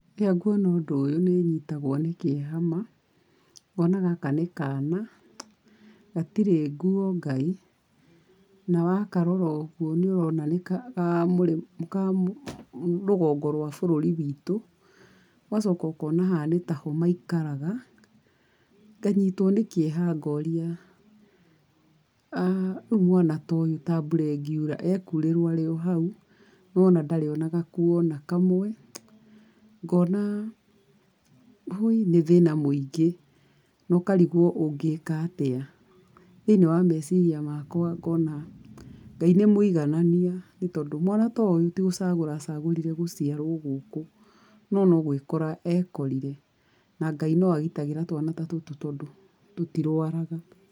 Rĩrĩa nguona ũndu ũyũ nĩ nyitagwo nĩ kĩeha ma. Ngona gaka nĩ kana, gatirĩ nguo Ngai, na wakarora ũguo nĩ ũrona nĩ ka rũgongo rwa bũrũri witũ. Ũgacoka ũkona haha nĩ ta ho maikaraga, nganyitwo nĩ kĩeha ngoria, rĩu mwana ta ũyũ ta mbura ĩngiura, ekurĩrwo arĩ o hau, nĩ wona ndarĩ o na gakuo o na kamwe. Ngona ũi nĩ thĩna mũingĩ, na ũkarigwo ũngĩika atĩa. Thĩiniĩ wa meciria makwa ngona, Ngai nĩ mũiganania nĩ tondũ, mwana ta ũyũ ti gũcagũra acagũrire guciarwo gũkũ, no no gũikora ekorire, na Ngai no agitagĩra twana ta tũtũ tondũ tũtirwaraga.